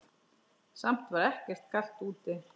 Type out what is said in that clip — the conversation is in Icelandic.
Samt var ekkert kalt úti.